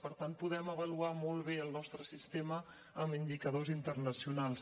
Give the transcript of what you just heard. per tant podem avaluar molt bé el nostre sistema amb indicadors internacionals